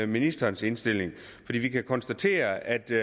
ministerens indstilling vi kan konstatere at det